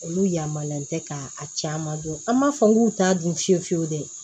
Olu yamariyalen tɛ k'a caman dɔn an b'a fɔ k'u t'a dun fiyewu fiyewu de